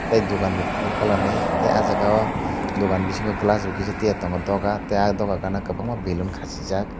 tei dukan bo kuphur colourni tei ah jagao dukan bisingo glass bo kisa tiya tongo dogar ah dogar gana kwbangma baloon khasijak.